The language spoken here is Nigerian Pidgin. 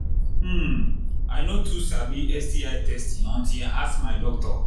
hmmm i no too sabi sti testing until i ask my doctor